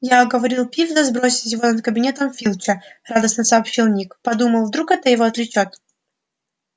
я уговорил пивза сбросить его над кабинетом филча радостно сообщил ник подумал вдруг это его отвлечёт